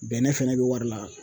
Bɛnɛ fɛnɛ bɛ wari la